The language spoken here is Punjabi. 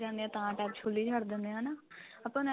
ਜਾਂਦੇ ਆਂ ਤਾਂ tap ਖੁੱਲੀ ਛੱਡ ਦਿੰਨੇ ਆਂ ਹਨਾ ਆਪਾਂ ਨੂੰ